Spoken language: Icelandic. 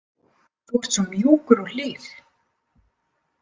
Þú ert svo mjúkur og hlýr.